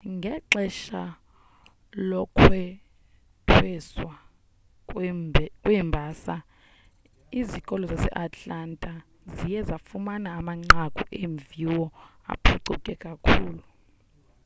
ngexesha lokwethweswa kweembasa izikolo zaseatlanta ziye zafumana amanqaku eemviwo aphucuke kakhulu